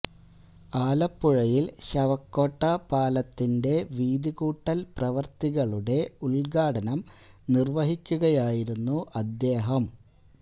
ആലപ്പുഴയിൽ ശവക്കോട്ട പാലത്തിന്റെ വീതി കൂട്ടൽ പ്രവൃത്തികളുടെ ഉദ്ഘാടനം നിർവഹിക്കുകയായിരുന്നു അദ്ദേഹം